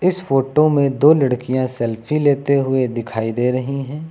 इस फोटो में दो लड़कियां सेल्फी लेते हुए दिखाई दे रही हैं।